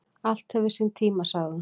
"""Allt hefur sinn tíma, sagði hún."""